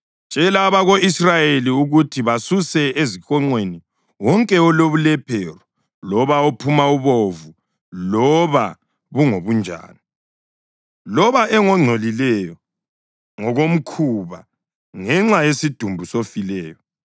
“Tshela abako-Israyeli ukuthi basuse ezihonqweni wonke olobulephero loba ophuma ubovu loba bungobunjani, loba engongcolileyo ngokomkhuba ngenxa yesidumbu sofileyo.